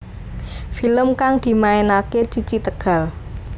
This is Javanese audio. Film kang dimainake Cici Tegal